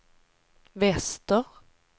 väster